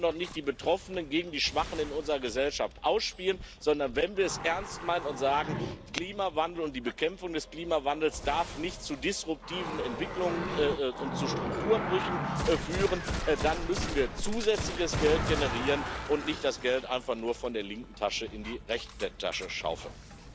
Wir dürfen doch nicht die Betroffenen gegen die Schwachen in unserer Gesellschaft ausspielen, sondern wenn wir es ernst meinen und sagen Klimawandel und die Bekämpfung des Klimawandels darf nicht zu disruptiven Entwicklungen und zu Strukturbrüchen führen, dann müssen wir zusätzliches Geld generieren und nicht das Geld einfach nur von der linken Tasche in die rechte Tasche schaufeln.